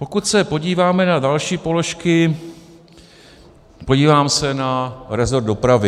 Pokud se podíváme na další položky, podívám se na resort dopravy.